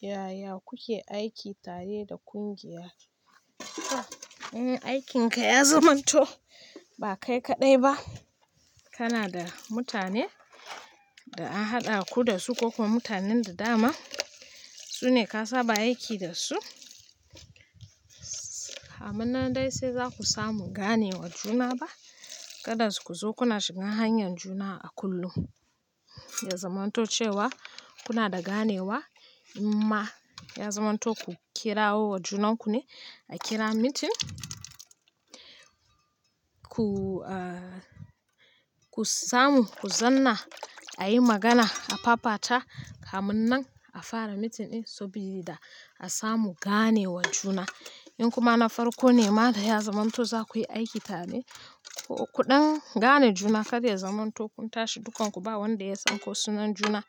Yaya kuke aiki tare da kungiya? In aikinka ya zamanto ba kai kaɗai ba, kana da mutanen da an haɗa ku da su ko kuma mutanen da dama su ne ka saba aiki da su, kam nan dai sai za ku samu ganewa juna ba. Kada ku zo kuna shiga hanyar juna a kullum, ya zamanto cewa kuna da ganewa imma ya zamanto ku kirawo junanku ne a kira meeting, ku samu, ku zanna a yi magana, a fafata kamunnan a fara meeting ɗin saboda a samu ganewa juna. In kuma na farko ne ma da ya zamanto za ku yi aiki tare, kuɗan gane juna kar ya zamanto kun tashi dukanku ba wanda ya san ko sunan juna.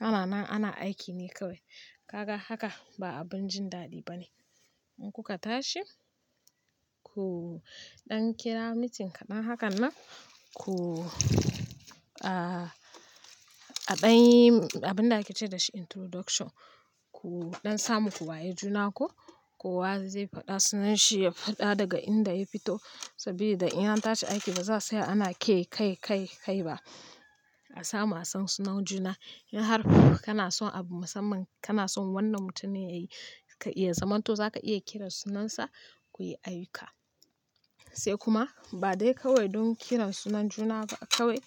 Ana nan ana aiki ne kawai. Kaga haka ba abin jin daɗi ba ne. In kuka tashi, kuɗan kira meeting kaɗan hakan nan, ku aɗan abin da ake ce da shi introduction, kuɗan samu ku wayi juna ko kowa zai faɗa sunanshi, ya faɗa daga inda ya fito saboda in an tashi aiki baza'a tsaya ana ke kai, kai, kai ba. A samu a san sunan juna. In har kana son abu musamman, kana son wannan mutumin ne ka iya zamanto za ka iya kiran sunansa, ku yi aiki. Sai kuma ba dai kawai don kiran sunan juna ba kawai,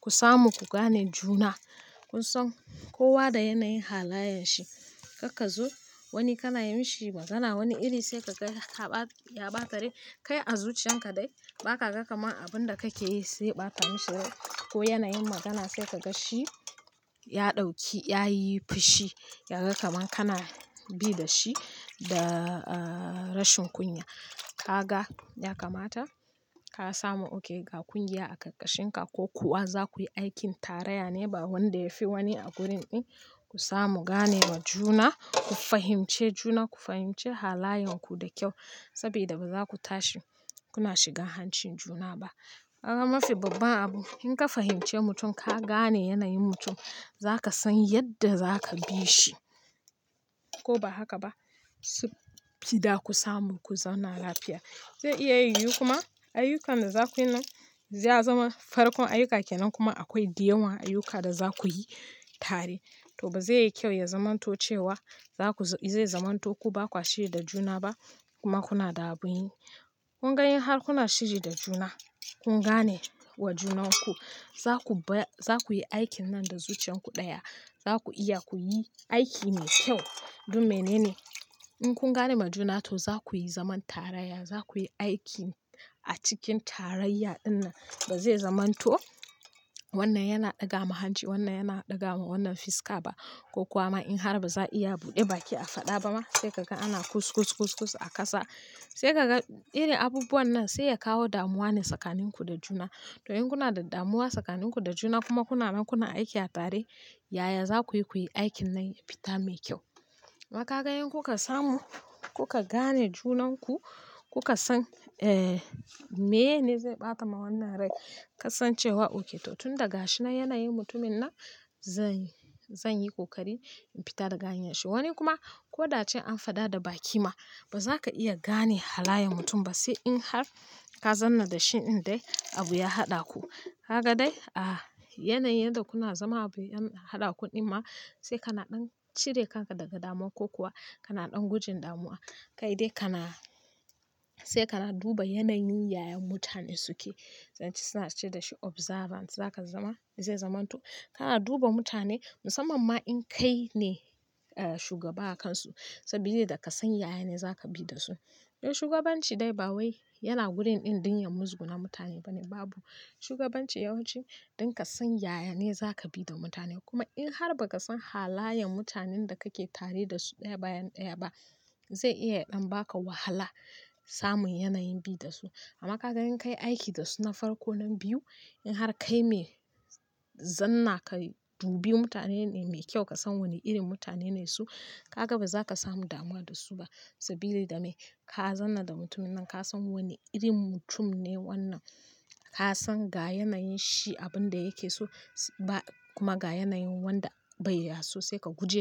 ku samu ku gane juna. Kun san kowa da yanayin halayen shi. Karka zo wani kana yimishi magana, wani iri sai kaga ya ɓata rai. Kai a zuciyan ka dai ba ka ga kamar abin da kake yi zai ɓata masa rai ko yanayin magana sai kaga shi ya ɗauki, ya yi fushi, ya ga kamar kana bi da shi da rashin kunya. Ka ga ya kamata ka samu okay ga kungiya a ƙarƙashin ka ko kuwa za ku yi aikin tarayya ne ba wanda ya fi wani a gurin ɗin. Ku samu ganewa juna, ku fahimci juna, ku fahimci halayen ku da kyau saboda ba za ku tashi kuna shiga hancin juna ba. Kaga mafi babban abu in ka fahimci mutum, ka gane yanayin mutum za ka san yadda za ka bi shi ko ba haka ba saboda ku samu ku zauna lafiya. Zai iya yiwu kuma ayyukan da za ku yi nan ya zama farkon ayyuka ke nan kuma akwai dayawn ayyuka da za ku yi tare. To ba zai yi kyau ya zamanto cewa za ku, zai zamanto ku ba kwashiri da juna ba kuma kuna ɗaɓi. Kun ga in har kuna shiri da juna, kun gane wa junanku, za ku, za ku yi aikin nan da zuciyan ku ɗaya. Za ku iya ku yi aiki mai kyau. Don menene? In kun gane ma juna to za ku yi zaman tarayya, za ku yi aiki a cikin tarayya inna ba zai zamanto wannan yana ɗaga ma hanci, wannan yana ɗaga ma wannan fiska ba ko kuwa ma in har ba za a iya buɗe baki a faɗa ba ma sai kaga ana kuskus, kuskus a kasa. Sai kaga iri abubuwan nan sai ya kawo damuwa ne tsakanin ku da juna. To in kuna da damuwa tsakanin ku da juna kuma kuna nan kuna aiki a tare, yaya za ku yi ku yi aikin nan ya fita mai kyau. Amma kaga in kuka samu, kuka gane junanku, kuka san, eh, meye ne zai ɓata ma wannan rai. Ka san cewa okay to tun daga shi na yanayin mutumin nan zan, zan yi ƙoƙari in fita daga hanyar shi. Wani kuma ko da ace an faɗa da baki ma ba za ka iya gane halayen mutum ba sai in har ka zanna da shi in dai abu ya haɗa ku. Kaga dai, ah, yanayin da kuna zama abu yan haɗa ku ɗin ma sai ka naɗan cire kanka daga damuwa ko kuwa ka naɗan gujin damuwa. Kai dai kana, sai ka na duba yanayin yaya mutane suke. Zan ce suna ce da shi observance. Zaka zama, zai zamanto kana duba mutane musamman ma in kai ne shugaba a kansu saboda ka san yaya ne za ka bi da su. Don shugabanci dai ba wai yana wurin in ɗinya muzgunawa mutane ba ne babu. Shugabanci yawanci don ka san yaya ne za ka bi da mutane. Kuma in har ba ka san halayen mutanen da kake tare da su ɗaya bayan ɗaya ba zai iya ɗan ba ka wahala samun yanayin bi da su. Amma kaga in kai aiki da su na farko na biyu, in har kai mai zanna ka dubi mutane ne mai kyau, ka san wane irin mutane ne su, ka ga ba za ka samu damuwa da su ba saboda da me? Ka zanna da mutumin nan, ka san wane irin mutum ne wannan. Ka san ga yanayin shi abin da yake so ba kuma ga yanayin wanda bai ya so sai ka guje da shi.